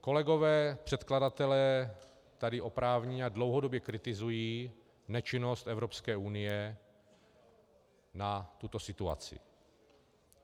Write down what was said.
Kolegové předkladatelé tady oprávněně a dlouhodobě kritizují nečinnost Evropské unie na tuto situaci.